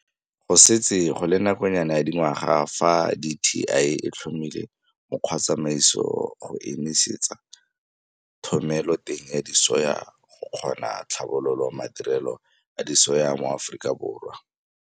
Go setse go le nakonyana ya dingwaga fa DTI e tlhomile mokgwatsamaiso go emisetsa thomeloteng ya disoya go kgona tlhabolola madirelo a disoya mo Aforikaborwa.